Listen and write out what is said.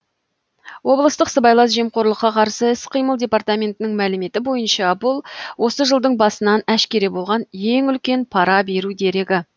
облыстық сыбайлас жемқорлыққа қарсы іс қимыл департаментінің мәліметі бойынша бұл осы жылдың басынан әшкере болған ең үлкен пара беру дерегі